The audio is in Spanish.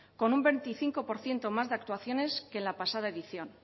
con un veinticinco por ciento más de actuaciones que en la pasada edición